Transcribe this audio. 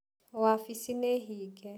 Wabici nĩ hinge.